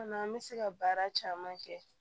An bɛ se ka baara caman kɛ